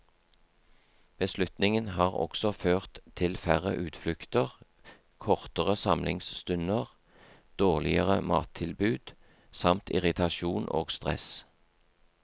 Beslutningen har også ført til færre utflukter, kortere samlingsstunder, dårligere mattilbud, samt irritasjon og stress.